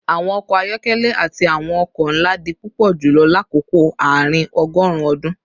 Awọn ọkọ ayọkẹlẹ ati awọn oko nla di pupọ julọ lakoko aarin-ọgọrun ọdun